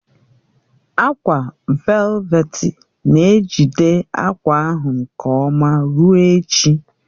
Ákwà velveti na-ejide akwa ahụ nke ọma ruo echi